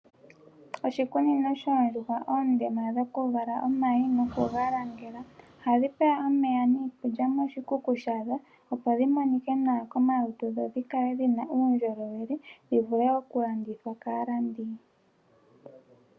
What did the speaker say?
Oshikunino shoondjuhwa oondema dhokuvala omayi nokuga langela. Ohadhi pewa omeya niikulya moshikuku shadho, opo dhi monike nawa komalutu dho dhi kale dhi na uundjolowele dhi vule okulandithwa kaalandi.